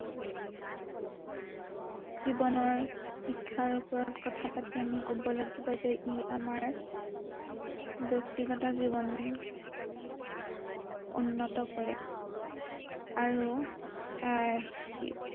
জীৱনৰ শিক্ষাৰ ওপৰত কথা পাতি আমি কব লাগিব যে ই আমাৰ, ব্য়ক্তিগত জীৱন উন্নত কৰে, আৰু আহ সি